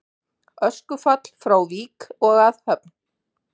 Öskufall frá Vík og að Höfn